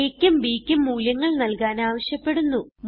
aക്കും bക്കും മൂല്യങ്ങൾ നല്കാൻ ആവശ്യപ്പെടുന്നു